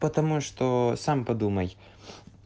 потому что сам подумай